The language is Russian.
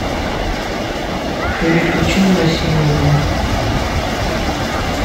переключи на россию один